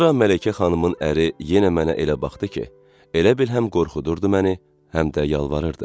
Sonra Mələkə xanımın əri yenə mənə elə baxdı ki, elə bil həm qorxudurdu məni, həm də yalvarırdı.